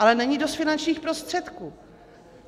Ale není dost finančních prostředků.